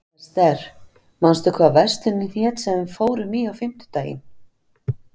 Ester, manstu hvað verslunin hét sem við fórum í á fimmtudaginn?